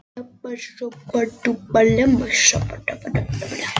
Við erum svo samrýmdar, höfum alltaf verið tvær saman og.